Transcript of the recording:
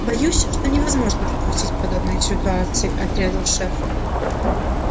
боюсь что невозможно допустить подобные ситуации отрезал шеф